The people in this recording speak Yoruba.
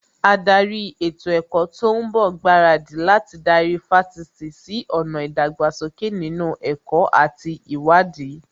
Ádárì ètò ẹ̀kọ́ tó ń bọ̀ ń gbaradì láti darí Fásitì sí ọ̀nà ìdàgbàsókè nínú ẹ̀kọ́ àti ìwádìí